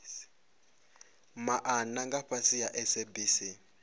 maana nga fhasi ha sabc